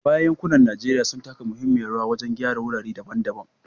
A baya, yankunan Najeriya sun taka muhimmiyar rawa wajen gyara wurare daban-daban